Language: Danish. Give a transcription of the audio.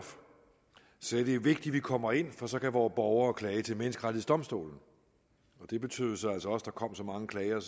sagde det er vigtigt vi kommer ind for så kan vore borgere klage til menneskerettighedsdomstolen det betød jo så altså også at der kom så mange klager at